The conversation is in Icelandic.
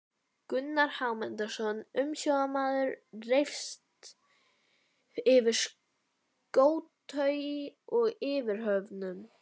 Gunnar Hámundarson umsjónarmaður reifst yfir skótaui og yfirhöfnum.